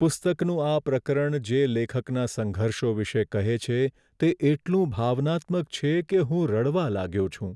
પુસ્તકનું આ પ્રકરણ જે લેખકના સંઘર્ષો વિશે કહે છે તે એટલું ભાવનાત્મક છે કે હું રડવા લાગ્યો છું.